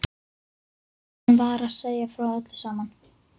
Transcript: Stór blómvöndur í vasa upp við töfluna.